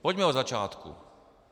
Pojďme od začátku.